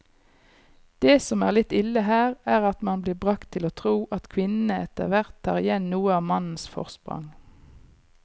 Det som er litt ille her, er at man blir bragt til å tro at kvinnene etterhvert tar igjen noe av mannens forsprang.